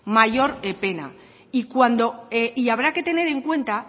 mayor pena y habrá que tener en cuenta